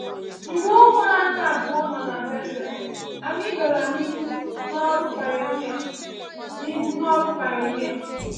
Mgbe ụmụ anyị abụọ nọ na Bethel, anyị gara n’ihu n’ọrụ pionia. n’ihu n’ọrụ pionia.